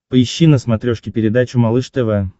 поищи на смотрешке передачу малыш тв